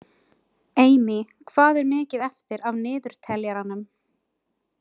Amy, hvað er mikið eftir af niðurteljaranum?